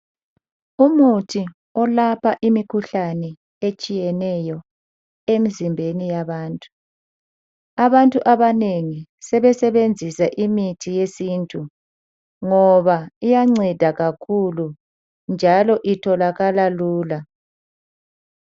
Umuthi olapha imikhuhlane etshiyeneyo emzimbeni yabantu. Abantu abanengi sebesebenzisa imithi yesintu ngoba iyanceda kakhulu njalo itholakala lula.